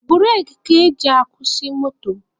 Bureki ka eji akwụsị moto.